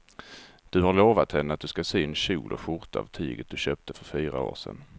Du har lovat henne att du ska sy en kjol och skjorta av tyget du köpte för fyra år sedan.